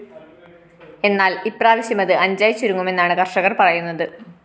എന്നാല്‍ ഇപ്രാവശ്യമത് അഞ്ചായി ചുരുങ്ങുമെന്നാണ് കര്‍ഷകര്‍ പറയുന്നത്